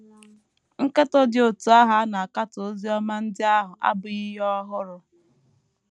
Nkatọ dị otú ahụ a na - akatọ Oziọma ndị ahụ abụghị ihe ọhụrụ.